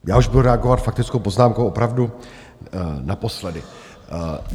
Já už budu reagovat faktickou poznámkou opravdu naposledy.